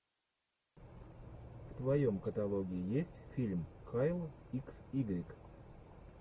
в твоем каталоге есть фильм кайл икс игрек